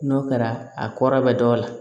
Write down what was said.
N'o kɛra a kɔrɔ bɛ dɔ la